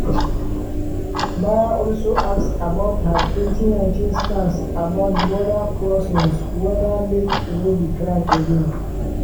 baier also ask about her 2019 stance about border crossings weda make e no be crime again.